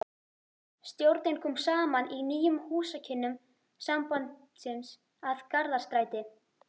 Stjórnin kom saman í nýjum húsakynnum sambandsins að Garðastræti